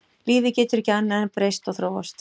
Lífið getur ekki annað en breyst og þróast.